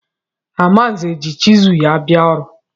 Amanze ji chizụl ya bịa ọrụ.